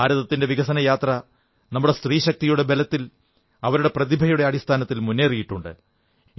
ഭാരതത്തിന്റെ വികസനയാത്ര നമ്മുടെ സ്ത്രീശക്തിയുടെ ബലത്തിൽ അവരുടെ പ്രതിഭയുടെ അടിസ്ഥാനത്തിൽ മുന്നേറിയിട്ടുണ്ട്